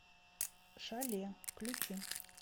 шале включи